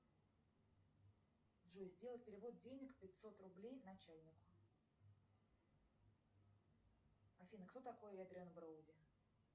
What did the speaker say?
джой сделай перевод денег пятьсот рублей начальнику афина кто такой эдриан броуди